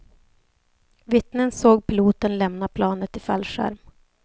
Vittnen såg piloten lämna planet i fallskärm.